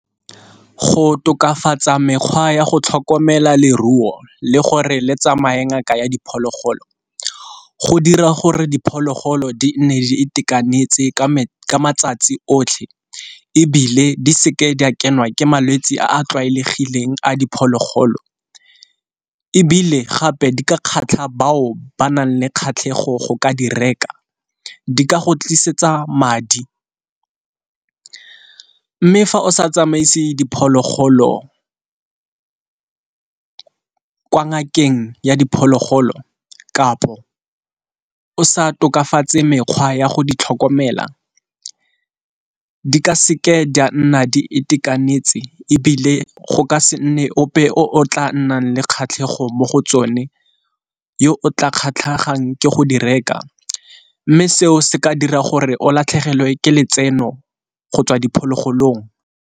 Go tokafatsa mekgwa ya go tlhokomela leruo le gore le tsamaye ngaka ya diphologolo go dira gore diphologolo di nne e itekanetse ka matsatsi otlhe, ebile di seke di a kenwa ke malwetse a a tlwaelegileng a diphologolo. Ebile gape di ka kgatlha bao ba nang le kgatlhego go ka dira reka, di ka go tlisetsa madi. Mme fa o sa tsamaise diphologolo kwa ngakeng ya diphologolo kapo o sa tokafatse mekgwa ya go ditlhokomela di ka seke di a nna di itekanetse. Ebile go ka se nne ope o tla nnang le kgatlhego mo go tsone yo o tla kgatlhang ke go di reka, mme seo se ka dira gore o latlhegelwe ke letseno go tswa diphologolong.